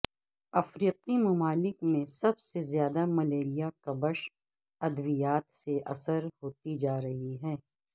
افریقی ممالک میں سب سے زیادہ ملیریا کبش ادویات بے اثر ہوتی جا رہی ہیں